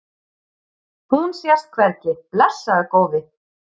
Hún sést hvergi, blessaður góði.